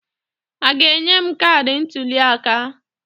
A ga-enye m kaadị ntụliaka?